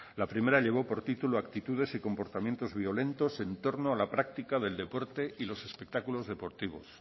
la primera llevó por título actitudes y comportamientos violentos en torno a la práctica del deporte y los espectáculos deportivos